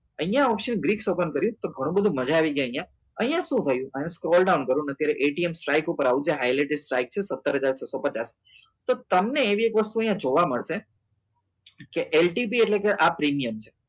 અહીંયા option Greeks open કરીશ તો ઘણું બધું મજા આવી જાય અહીંયા શું હોય અને down કરવાના અહીંયા સ્ટ્રાઈક પર આવો જસ્ટ highlighting વાંચ્યું સતાર હજાર છસો પચાસ તો તમને એક વસ્તુ અહીંયા જોવા મળશે કે LTP એટલે આ પ્રીમિયમ છે